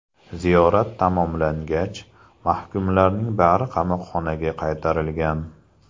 Ziyorat tamomlangach, mahkumlarning bari qamoqxonaga qaytarilgan.